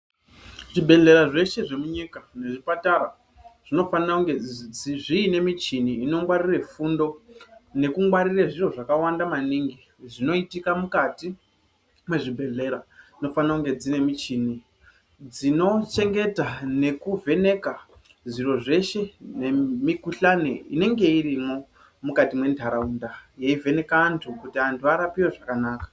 Zvibhedhleya zveshe zvemunyika nezvipatara zvinofanirwa kunge zviine michini inongwarira fundo nekungwarira zviro zvakawanda maningi zvinoitika mukati mezvibhedhlera munofara kunge mune muchini. Dzinochengeta nekuvheneka zviro zveshe nemikuhlani inenge irimo mukati mentaraunda yeivheneka antu kuti antu arapiwe zvakanaka